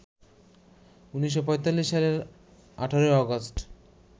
১৯৪৫ সালের ১৮ অগাস্ট